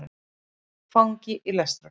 Fangi í lestarklefa.